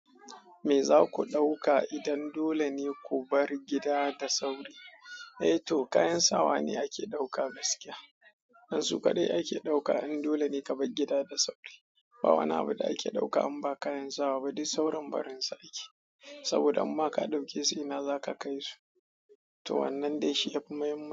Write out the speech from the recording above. Me za ku ɗauka idan dole ne ku bar gida da sauri? Eh to, kayan sawa ne ake ɗauka gaskiya. Dan su kaɗai ake ɗauka in dole ne ka bar gida da sauri. Ba wani abu da ake ɗauka in ba kayan sawa ba, duk sauran barinsu yake. Saboda im ma ka ɗauke sai ina za ka kai su? To wannan dai shi ya fi muhimmanci.